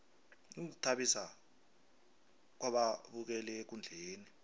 ukuzithabisa kwababukeli ekundleni